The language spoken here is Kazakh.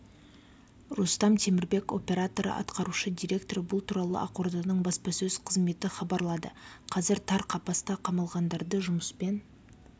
рустам темірбек операторы атқарушы директоры бұл туралы ақорданың баспасөз қызметі хабарлады қазір тар қапасқа қамалғандарды жұмыспен